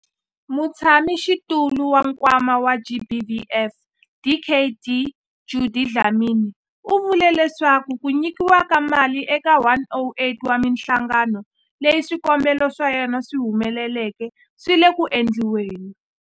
Mutshamaxitulu wa Nkwama wa GBVF, Dkd Judy Dlamini, u vule leswaku ku nyikiwa ka mali eka 108 wa mihlangano leyi swikombelo swa yona swi humeleleke swi le ku endliweni.